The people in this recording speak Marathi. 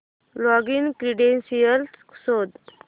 लॉगिन क्रीडेंशीयल्स शोध